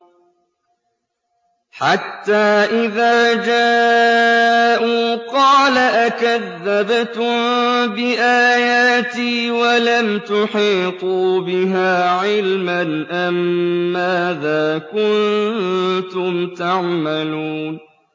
حَتَّىٰ إِذَا جَاءُوا قَالَ أَكَذَّبْتُم بِآيَاتِي وَلَمْ تُحِيطُوا بِهَا عِلْمًا أَمَّاذَا كُنتُمْ تَعْمَلُونَ